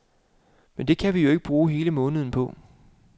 Men det kan vi jo ikke bruge hele måneden på.